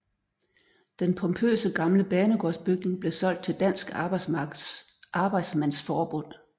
Den pompøse gamle banegårdsbygning blev solgt til Dansk Arbejdsmandsforbund